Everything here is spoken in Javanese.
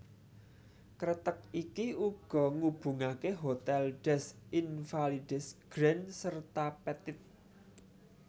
Kreteg iki uga ngubungaké Hotel des Invalides Grand serta Petit